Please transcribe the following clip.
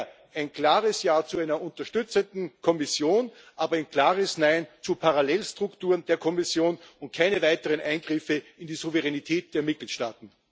Daher ein klares Ja zu einer unterstützenden Kommission, aber ein klares Nein zu Parallelstrukturen der Kommission und keine weiteren Eingriffe in die Souveränität der Mitgliedstaaten.